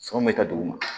Sɔn bɛ ka duguma